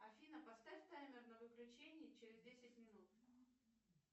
афина поставь таймер на выключение через десять минут